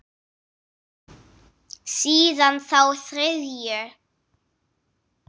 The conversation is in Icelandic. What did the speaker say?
Síðan þá þriðju.